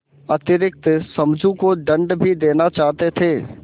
अतिरिक्त समझू को दंड भी देना चाहते थे